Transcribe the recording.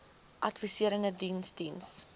adviserende diens diens